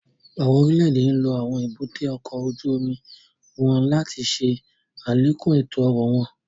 Awọn orile-ede nlo awọn èbúté ọkọ ojú omi wọn láti ṣe alekun eto-ọrọ wọn